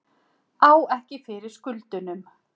Á ekki fyrir skuldunum